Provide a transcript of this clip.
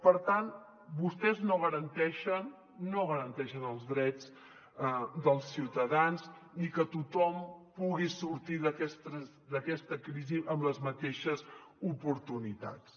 per tant vostès no garanteixen no garanteixen els drets dels ciutadans ni que tothom pugui sortir d’aquesta crisi amb les mateixes oportunitats